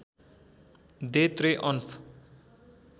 they त्रेअन्फ